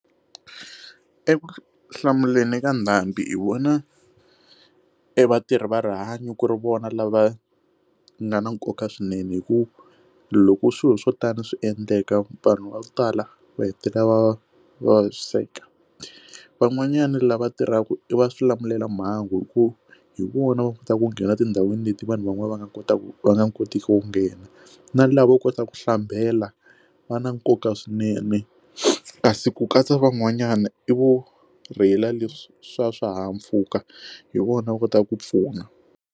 Ekuhlamuleni ka ndhambi hi vona evatirhi va rihanyo ku ri vona lava nga na nkoka swinene hi ku loko u swilo swo tani swi endleka vanhu va ku tala va hetelela va va vaviseka van'wanyana lava tirhaka i va xilamulelamhangu hikuva hi vona va kota ku nghena tindhawini leti vanhu van'wani va nga kotaka ku va nga kotiki ku nghena na lava kotaka ku hlambela va na nkoka swinene kasi ku katsa van'wanyana i vuorhela leswi swa swihahampfhuka hi vona va kota ku pfuna.